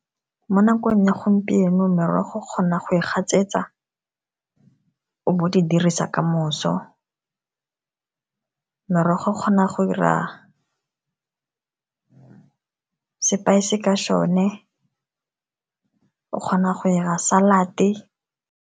Mo nakong ya gompieno, merogo kgona go e gatsetsa o bo o di dirisa kamoso, merogo o kgona go 'ira sepaese ka sone, o kgona go 'ira salad-e.